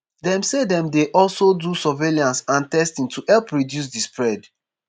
dem say dem dey also do surveillance and testing to help reduce di spread